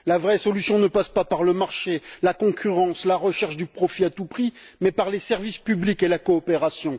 La vraie solution ne passe pas par le marché, la concurrence, la recherche du profit à tout prix, mais par les services publics et la coopération.